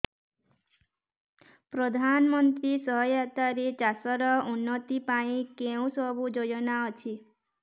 ପ୍ରଧାନମନ୍ତ୍ରୀ ସହାୟତା ରେ ଚାଷ ର ଉନ୍ନତି ପାଇଁ କେଉଁ ସବୁ ଯୋଜନା ଅଛି